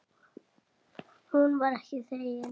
Hún var ekki þegin.